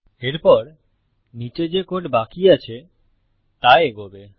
এরপর নীচে যে কোড বাকি আছে তা এগোবে